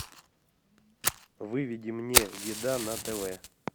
выведи мне еда на тв